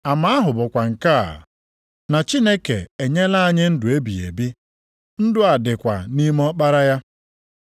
Ama ahụ bụkwa nke a, na Chineke enyela anyị ndụ ebighị ebi, ndụ a dịkwa nʼime Ọkpara ya.